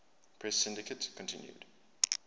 press syndicate continued